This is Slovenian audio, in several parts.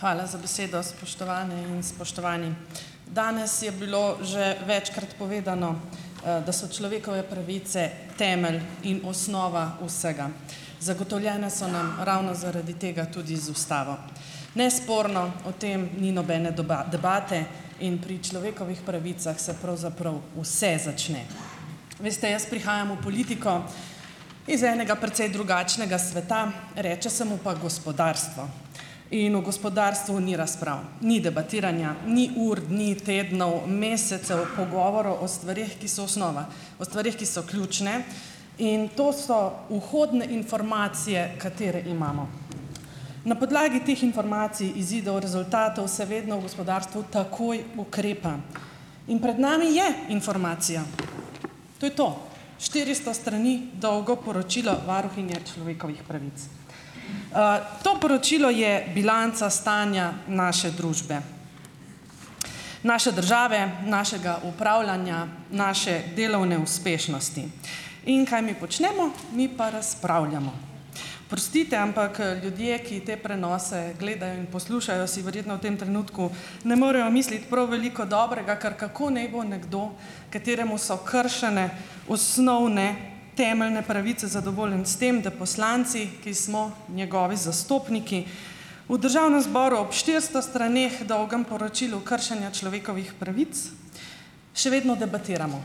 Hvala za besedo, spoštovane in spoštovani! Danes je bilo že večkrat povedano, da so človekove pravice temelj in osnova vsega. Zagotovljene so nam ravno zaradi tega tudi z ustavo. Nesporno o tem ni nobene debate in pri človekovih pravicah se pravzaprav vse začne. Veste, jaz prihajam v politiko iz enega precej drugačnega sveta, reče se mu pa gospodarstvo. In v gospodarstvu ni razprav, ni debatiranja, ni ur, dni, tednov, mesecev pogovorov o stvareh, ki so osnova, o stvareh, ki so ključne in to so vhodne informacije, katere imamo. Na podlagi teh informacij, izidov, rezultatov se vedno v gospodarstvu takoj ukrepa. In pred nami je informacija. To je to. Štiristo strani dolgo poročilo varuhinje človekovih pravic. To poročilo je bilanca stanja naše družbe, naše države, našega upravljanja, naše delovne uspešnosti. In kaj mi počnemo? Mi pa razpravljamo. Oprostite ampak, ljudje, ki te prenose gledajo in poslušajo, si verjetno v tem trenutku ne morejo misliti prav veliko dobrega, ker, kako naj bo nekdo, kateremu so kršene osnovne temeljne pravice, zadovoljen s tem, da poslanci, ki smo njegovi zastopniki v državnem zboru, ob štiristo straneh dolgem poročilu kršenja človekovih pravic, še vedno debatiramo.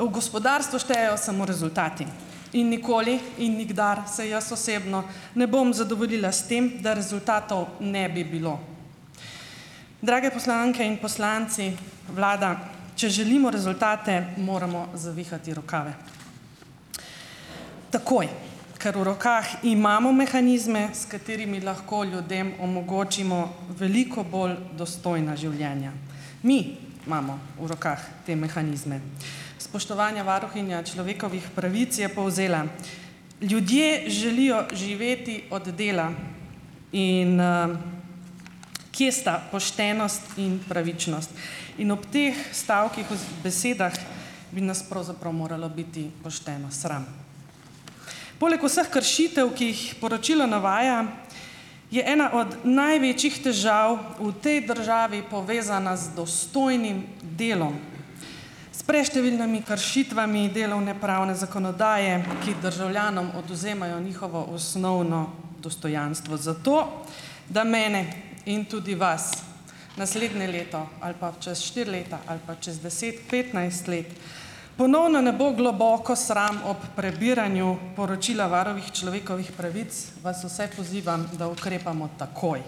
V gospodarstvu štejejo samo rezultati in nikoli in nikdar se jaz osebno ne bom zadovoljila s tem, da rezultatov ne bi bilo. Drage poslanke in poslanci, vlada, če želimo rezultate, moramo zavihati rokave. Takoj, ker v rokah imamo mehanizme, s katerimi lahko ljudem omogočimo veliko bolj dostojna življenja. Mi imamo v rokah te mehanizme. Spoštovanja varuhinja človekovih pravic je povzela: "Ljudje želijo živeti od dela in, kje sta poštenost in pravičnost?" In ob teh stavkih besedah bi nas pravzaprav moralo biti pošteno sram. Poleg vseh kršitev, ki jih poročilo navaja, je ena od največjih težav v tej državi povezana z dostojnim delom. S preštevilnimi kršitvami delovnopravne zakonodaje, ki državljanom odvzemajo njihovo osnovno dostojanstvo, zato, da mene in tudi vas naslednje leto ali pa čez štiri leta ali pa čez deset, petnajst let, ponovno ne bo globoko sram ob prebiranju poročila varuha človekovih pravic, vas vse pozivam, da ukrepamo takoj.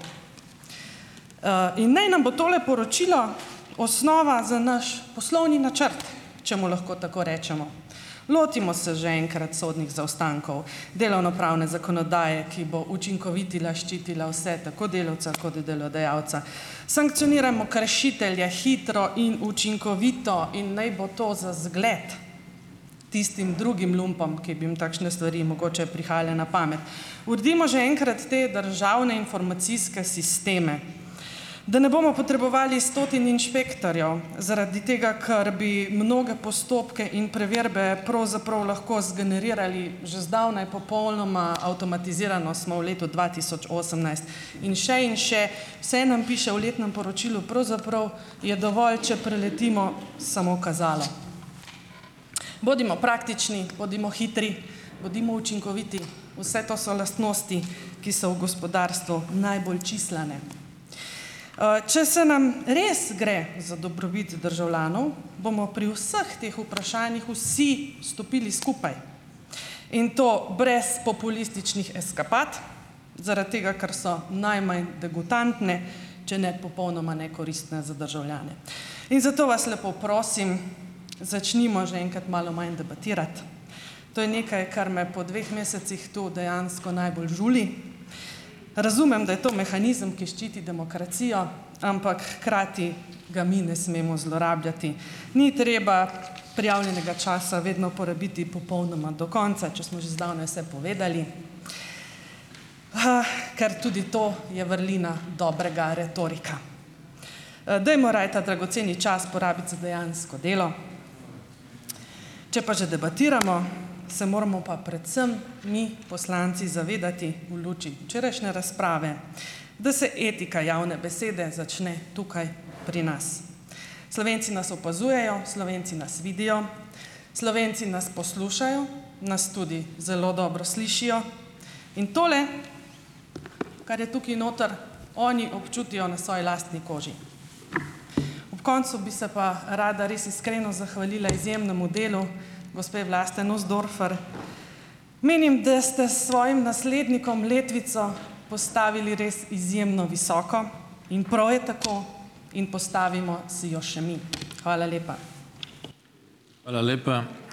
In ni nam bo tole poročilo osnova za naš poslovni načrt, če mu lahko tako rečemo. Lotimo se že enkrat sodnih zaostankov delovnopravne zakonodaje, ki bo učinkovito ščitila vse, tako delavca kot delodajalca. Sankcionirajmo kršitelje hitro in učinkovito in naj bo to za zgled tistim drugim lumpom, ki bi jim takšne stvari mogoče prihajale na pamet. Uredimo že enkrat te državne informacijske sisteme, da ne bomo potrebovali stotin inšpektorjev zaradi tega, ker bi mnoge postopke in preverbe pravzaprav lahko zgenerirali že zdavnaj popolnoma avtomatizirano, smo v letu dva tisoč osemnajst, in še in še. Vse nam piše v letnem poročilu. Pravzaprav je dovolj, če preletimo samo kazalo. Bodimo praktični, bodimo hitri, bodimo učinkoviti. Vse to so lastnosti, ki so v gospodarstvu najbolj čislane. Če se nam res gre za dobrobit državljanov, bomo pri vseh teh vprašanjih vsi stopili skupaj in to brez populističnih eskapad. Zaradi tega, ker so najmanj degutantne, če ne popolnoma nekoristne za državljane. In zato vas lepo prosim, začnimo že enkrat malo manj debatirati. To je nekaj, kar me po dveh mesecih tu dejansko najbolj žuli. Razumem, da je to mehanizem, ki ščiti demokracijo, ampak hkrati ga mi ne smemo zlorabljati. Ni treba prijavljenega časa vedno porabiti popolnoma do konca, če smo že zdavnaj vse povedali, ker tudi to je vrlina dobrega retorika. Dajmo raje ta dragoceni čas porabiti za dejansko delo, če pa že debatiramo, se moramo pa predvsem mi poslanci zavedati v luči včerajšnje razprave, da se etika javne besede začne tukaj pri nas. Slovenci nas opazujejo, Slovenci nas vidijo, Slovenci nas poslušajo, nas tudi zelo dobro slišijo in tole, kar je tukaj noter, oni občutijo na svoji lastni koži. Ob koncu bi se pa rada res iskreno zahvalila izjemnemu delu gospe Vlaste Nussdorfer. Menim, da ste s svojim naslednikom letvico postavili res izjemno visoko in prav je tako in postavimo si jo še mi. Hvala lepa.